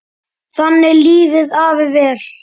Þannig lifði afi vel.